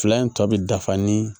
Fila in tɔ bi dafa ni